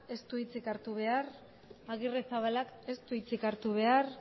ez du hitzik hartu behar agirrezabalak ez du hitzik hartu behar